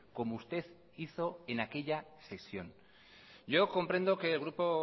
como usted hizo en aquella sesión yo comprendo que el grupo